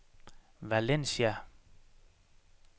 Valencia